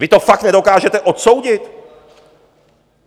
Vy to fakt nedokážete odsoudit?